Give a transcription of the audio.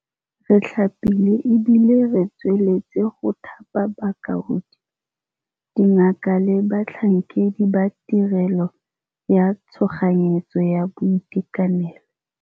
Re thapile e bile re tsweletse go thapa baoki, dingaka le batlhankedi ba tirelo ya tshoganyetso ya boitekanelo.